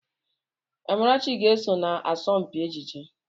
Amarachi ga-eso na asọmpi ejije.